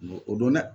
N ko o don dɛ